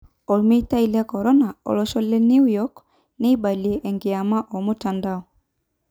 Omeitai le Corona:Olosho le New York neibalie enkiyama omutandao.